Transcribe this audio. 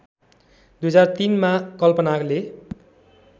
२००३ मा कल्पनाले